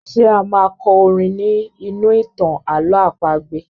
Ṣé a máa kọ orin ní inú ìtàn àlọ̀ọ́ àpagbè?